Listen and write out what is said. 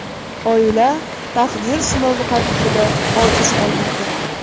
Oila taqdir sinovi qarshisida ojiz qolmoqda.